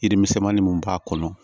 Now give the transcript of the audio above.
Yiri misɛnmanin mun b'a kɔnɔ